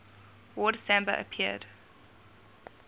word samba appeared